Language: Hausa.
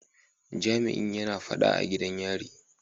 Jami'in yana fada a gidan yarin.